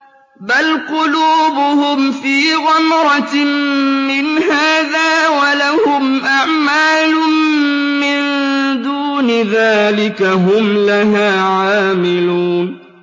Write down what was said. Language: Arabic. بَلْ قُلُوبُهُمْ فِي غَمْرَةٍ مِّنْ هَٰذَا وَلَهُمْ أَعْمَالٌ مِّن دُونِ ذَٰلِكَ هُمْ لَهَا عَامِلُونَ